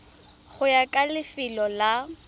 go ya ka lefelo la